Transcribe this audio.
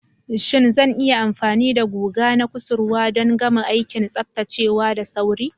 Shin zan yi amfani da guga na kusurwa don gama aikin tsaftacewa da sauri?